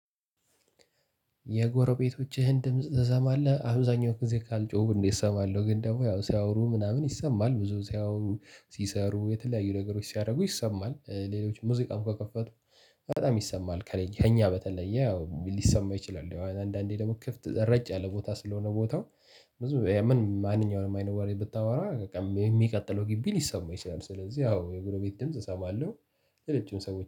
የጎረቤቶችህን ድምጽ ትሰማለህ? አብዛኛው ጊዜ ካልጮህኩ እንዴ እሰማለሁ። ግን ደግሞ ያው ሲያወሩ ምናምን ይሰማል። ብዙ ሲያወሩ ሲሰሩ የተለያዩ ነገሮች ሲያደርጉ ይሰማል። ሌሎች ሙዚቃም ከከፈቱ በጣም ይሰማል። ከእኛ በተለየ ያው ሊሰማው ይችላል። አንዳንዴ ደግሞ ክፍት ረጭ ያለ ቦታ ስለሆነ ቦታው ምን ማንኛውንም አይነት ዋሪ ብታወራ በቃ የሚቀጥለው ግቢ ሊሰማ ይችላል። ስለዚህ ያው የጎረቤት ድምጽ እሰማለሁ። የሌሎችን ሰዎች